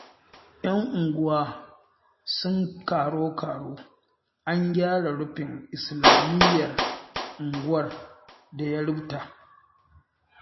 Yan unguwa sun karo-karo an gyara rufin islamiyyar unguwar da ya rufta